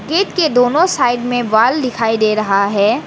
Gate के दोनों side में वॉल दिखाई दे रहा है।